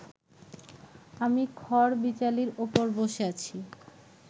আমি খড়বিচালির ওপর বসে আছি